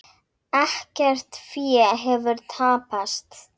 Ekkert fé hefur tapast.